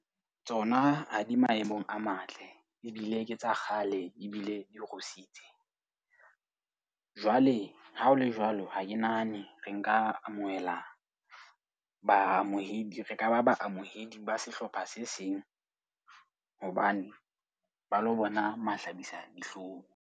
Tsona ha di maemong a matle ebile ke tsa kgale ebile di rusitse. Jwale ha ho le jwalo, ha ke nahane re nka amohela baamohedi. Re ka ba baamohedi ba sehlopha se seng hobane ba lo bona mahlabisadihlong.